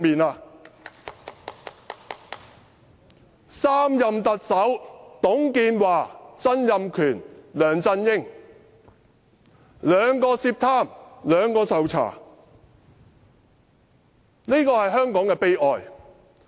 在3任特首包括董建華、曾蔭權和梁振英當中，兩人涉貪，兩人受查，這是香港的悲哀。